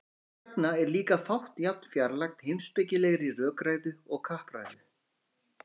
þess vegna er líka fátt jafn fjarlægt heimspekilegri rökræðu og kappræða